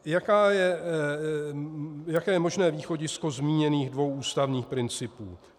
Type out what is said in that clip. Jaké je možné východisko zmíněných dvou ústavních principů?